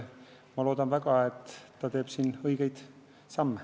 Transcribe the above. Ma loodan väga, et ta teeb õigeid samme.